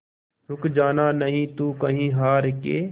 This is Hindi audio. रुक जाना नहीं तू कहीं हार के